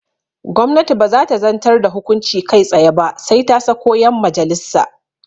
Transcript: Gwamnati baza ta zantar da hukunci kai tsaye ba sai ta sako yan majalissa